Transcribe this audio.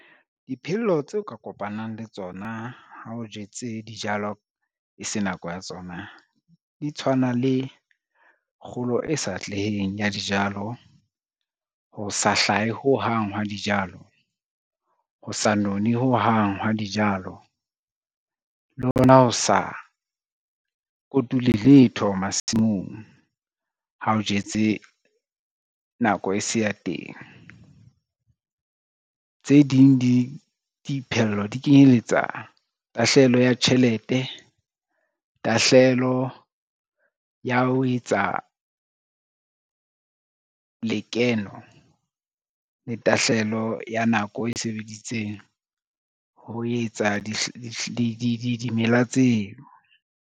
Diphello tse o ka kopanang le tsona ha o jetse dijalo e se nako ya tsona di tshwana le kgolo e sa atleheng ya dijalo, ho sa hlahe hohang hwa dijalo, ho sa none ho hang hwa dijalo le hona ho sa kotule letho masimong ha o jetse nako e se ya teng. Tse ding diphello di kenyeletsa tahlehelo ya tjhelete, tahlehelo ya ho etsa lekeno le tahlehelo ya nako e sebeditseng ho etsa dimela tseo.